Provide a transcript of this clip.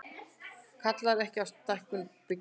Kallar ekki á stækkun bygginga